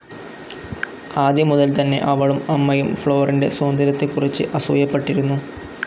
ആദ്യം മുതൽതന്നെ അവളും അമ്മയും ഫ്ലോറിന്റെ സൗന്ദര്യത്തെക്കുറിച്ച് അസൂയപ്പെട്ടിരുന്നു.